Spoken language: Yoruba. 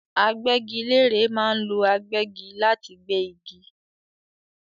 Agbẹ́gilére ma ń lo agbẹ́gi láti gbé igi